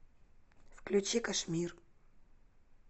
включи кашмир